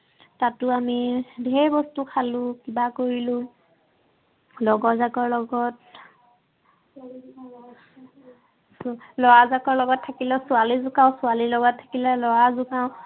তাতো আমি ঢেৰ বস্তু খালো, কিবা কৰিলো। লগৰজাকৰ লগত উম লৰাজাকৰ লগত থাকিলে ছোৱালী জোঁকাও, ছোৱালীৰ লগত থাকিলে লৰা জোকাও।